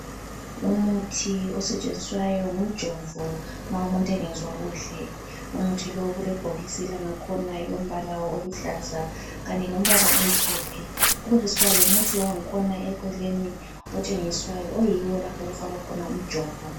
Umuthi osetshenziswayo ngumjovo ma umuntu engezwa kuhle. Umuthi lo kulebhokisi langakhona elombala oluhlaza kanye lombala omhlophe kubesekusiba lomuthi wangikhona eceleni otshengiswayo oyiwo lapho okufakwa khona umjovo.